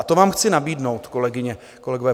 A to vám chci nabídnout, kolegyně, kolegové.